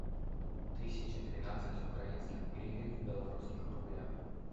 тысяча двенадцать украинских гривен в белорусских рублях